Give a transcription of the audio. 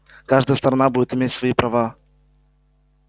каждая сторона будет иметь свои права